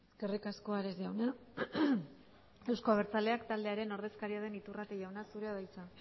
eskerrik asko ares jauna eusko abertzaleak taldearen ordezkaria den iturrate jauna zurea da hitza